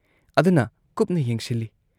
ꯑꯗꯨꯅ ꯀꯨꯞꯅ ꯌꯦꯡꯁꯤꯜꯂꯤ ꯫